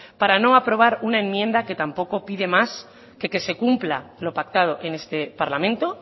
para no aprobar una enmienda que tampoco pide más que que se cumpla lo pactado en este parlamento